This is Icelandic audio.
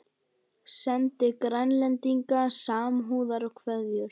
Sendi Grænlendingum samúðarkveðjur